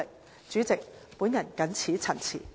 代理主席，我謹此陳辭。